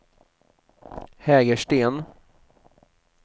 Hägersten